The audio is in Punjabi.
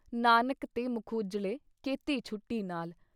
ਨਾਨਕ ਤੇ ਮੁਖ ਉਜਲੇ ਕੇਤੀ ਛੁਟੀ ਨਾਲ।"